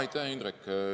Aitäh, Indrek!